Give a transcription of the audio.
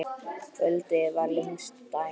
Kvöldið fyrir lengsta daginn.